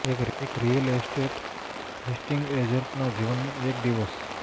એક real estate listing agent ના જીવન માં એક દિવસ